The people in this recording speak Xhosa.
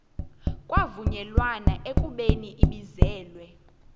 kwavunyelwana ekubeni ibizelwe